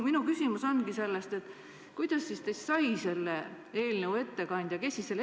Minu küsimus ongi: kuidas siis teist sai selle eelnõu ettekandja?